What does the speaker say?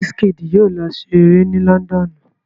Wizkid yóò lọ se eré ni lọ́ńdọ́ọ̀nù.